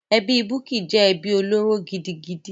Ẹbí Bukky jẹ́ ẹbí olóró gidigidi.